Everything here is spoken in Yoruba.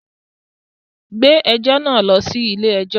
Gbé ẹjọ́ náà lọ sí ilé-ẹjọ́!